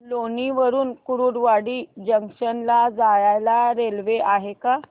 लोणी वरून कुर्डुवाडी जंक्शन ला जायला रेल्वे आहे का